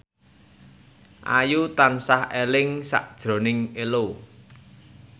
Ayu tansah eling sakjroning Ello